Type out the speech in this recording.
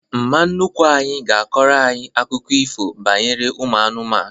Mma nnukwu anyị ga-akọrọ anyị akụkọ ifo banyere ụmụ anụmanụ